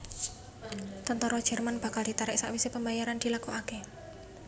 Tentara Jerman bakal ditarik sakwisé pembayaran dilakokaké